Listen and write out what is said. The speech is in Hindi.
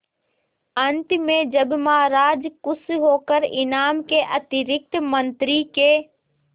अंत में जब महाराज खुश होकर इनाम के अतिरिक्त मंत्री के